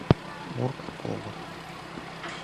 мурк повер